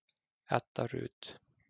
Edda Rut.